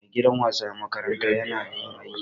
maigidan wasa na makaranta yana da yin aiki.